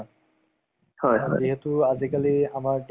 দুশ টা নে চাৰি শ টা কেইটা post ওলাইছিল, তাৰে exam হৈছিল মাজত।